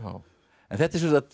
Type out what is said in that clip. en þetta er